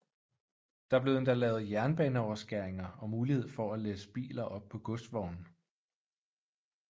Der blev endda lavet jernbaneoverskæringer og mulighed for at læsse biler op på godsvogne